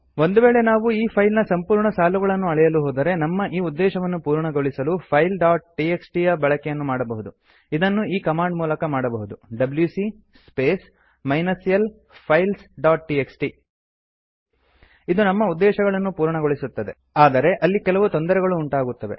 ಒಂದು ವೇಳೆ ನಾವು ಈ ಫೈಲ್ ನ ಸಂಪೂರ್ಣ ಸಾಲುಗಳನ್ನು ಅಳೆಯಲು ಹೋದರೆ ನಮ್ಮ ಈ ಉದ್ದೇಶವನ್ನು ಪೂರ್ಣಗೊಳಿಸಲು ಫೈಲ್ಸ್ ಡಾಟ್ ಟಿಎಕ್ಸ್ಟಿ ಯ ಬಳಕೆಯನ್ನು ಮಾಡಬಹುದು ಇದನ್ನು ಈ ಕಮಾಂಡ್ ಮೂಲಕ ಮಾಡಬಹುದು WC space minus l files dot TXT ಇದು ನಮ್ಮ ಉದ್ದೇಶವನ್ನು ಪೂರ್ಣಗೊಳಿಸುತ್ತದೆ ಆದರೆ ಅಲ್ಲಿ ಕೆಲವು ತೊಂದರೆಗಳು ಉಂಟಾಗುತ್ತದೆ